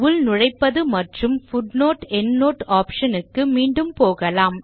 உள்நுழைப்பது மற்றும் footnoteஎண்ட்னோட் ஆப்ஷன் க்கு மீண்டும் போகலாம்